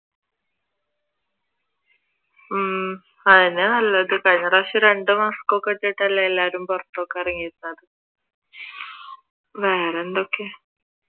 ഹും അതുതന്നെയാ നല്ലത് കഴിഞ്ഞ പ്രാവിശ്യം രണ്ട് mask ഒക്കെ വെച്ചിട്ടല്ലേ എല്ലാവരും പുറത്തൊക്കെ ഇറങ്ങിയിരുന്നത് വേറെന്തൊക്കെ?